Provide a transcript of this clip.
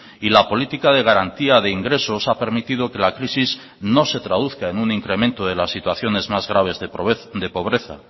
y la política de garantía de ingresos ha permitido que la crisis no se traduzca en un incremento de las situaciones más graves de pobreza